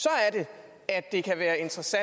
at det